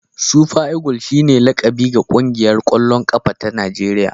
Super eagle shine laƙabi ga ƙungiyar ƙwallon ƙafa ta Najeriya.